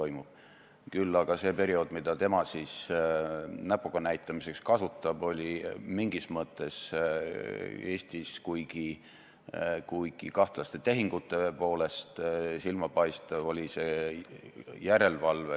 Ma nimetan ka need teised nimed siin ära: Jaanus Karilaid, Artur Talvik, perekond Helme on need, kes on Eesti mainele kahju teinud, parastades kaasa, kui taanlased Eestit määrisid.